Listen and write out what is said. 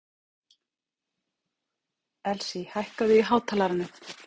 Elsí, hækkaðu í hátalaranum.